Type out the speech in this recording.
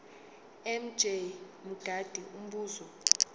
mj mngadi umbuzo